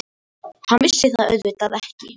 Hann vissi það auðvitað ekki.